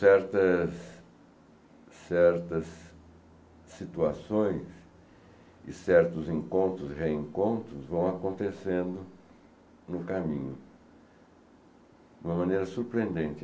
Certas certas situações e certos encontros e reencontros vão acontecendo no caminho de uma maneira surpreendente.